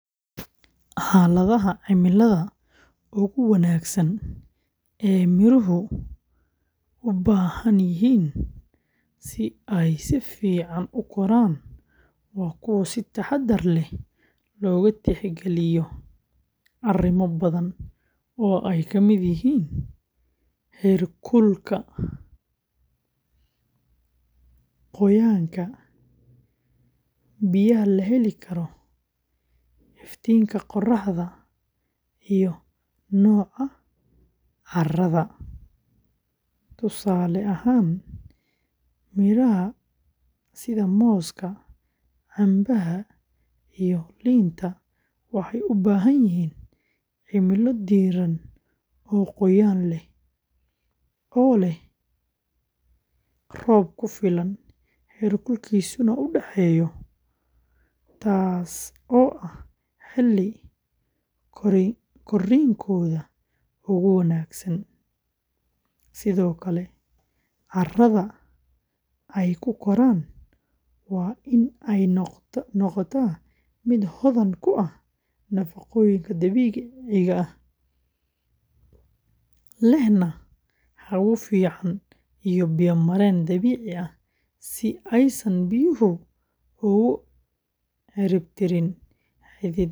Xaaladaha cimilada ugu wanaagsan ee midhuhu u baahan yihiin si ay si fiican u koraan waa kuwo si taxaddar leh loogu tixgeliyo arrimo badan oo ay ka mid yihiin heerkulka, qoyaanka, biyaha la heli karo, iftiinka qoraxda, iyo nooca carrada; tusaale ahaan, midhaha sida mooska, cambeha, iyo liinta waxay u baahan yihiin cimilo diiran oo qoyaan leh oo leh roob ku filan, heerkulkiisuna u dhexeeyo, taas oo ah xilli korriinkooda ugu wanaagsan, sidoo kale carrada ay ku koraan waa in ay noqotaa mid hodan ku ah nafaqooyinka dabiiciga ah, lehna hawo fiican iyo biyo-mareen dabiici ah si aysan biyuhu ugu cidhibtirin xididdada geedka.